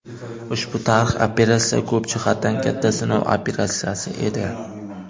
Ushbu tarixiy operatsiya ko‘p jihatdan katta sinov operatsiyasi edi.